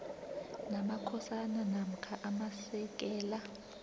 namakhosana namkha amasekela